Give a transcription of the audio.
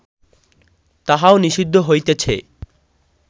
তাহাও নিষিদ্ধ হইতেছে